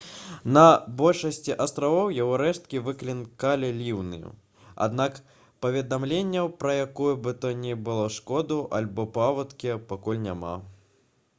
на большасці астравоў яго рэшткі выклікалі ліўні аднак паведамленняў пра якую бы то ні было шкоду альбо паводкі пакуль няма